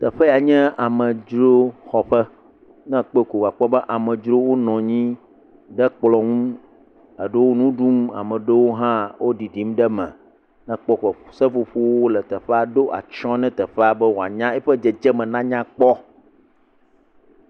Teƒe ya nye amedzroxɔƒe, ne ekpɔe ko akpɔ be anmedzro nɔ anyi ɖe kplɔ ŋu ɖewo nu ɖum ame ɖewo hã ɖiɖim ɖe eme, seƒoƒowo le teƒea ɛɖo atsyɔ na teƒe be eƒe dzedze me na nyakpɔ.